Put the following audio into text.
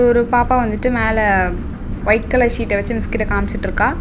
இதொரு பாப்பா வந்துட்டு மேல வைட் கலர் சீட்ட வச்சு மிஸ் கிட்ட காமிச்சுட்டுருக்கா.